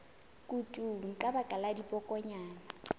kutung ka baka la dibokonyana